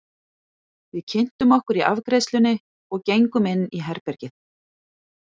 Við kynntum okkur í afgreiðslunni og gengum inn í herbergið.